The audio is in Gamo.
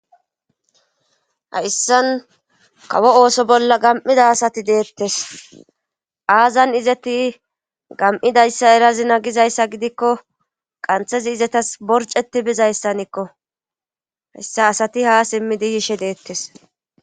Hayssan kawo ooso bolla gam7ida asati deettes aazan izeti gam7idayssa erazi nagizayssa gidikko qanthezi izetas borceti bizayssanikko hessa asati ha simmidi hishe deettes